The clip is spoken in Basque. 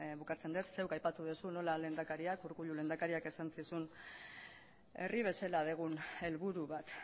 bukatzen dut zuk aipatu duzu nola lehendakariak urkullu lehendakariak esan zizun herri bezala dugun helburu bat